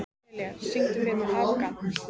Elía, syngdu fyrir mig „Afgan“.